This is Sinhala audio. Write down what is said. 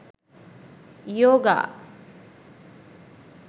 yoga